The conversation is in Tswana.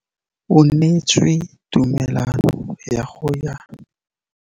O neetswe tumalanô ya go tsaya loetô la go ya kwa China.